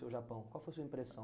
o Japão? Qual foi a sua impressão?